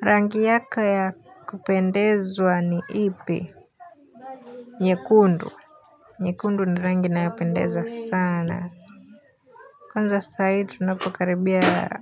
Rangi yako ya kupendeza ni ipi nyekundu nyekundu ni rangi nayopendeza sana konza sahi tunapokaribia